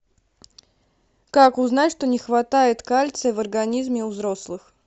как узнать что не хватает кальция в организме у взрослых